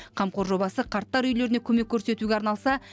қамқор жобасы қарттар үйлеріне көмек көрсетуге арналса